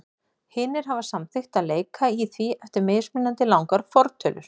Hinir hafa samþykkt að leika í því eftir mismunandi langar fortölur.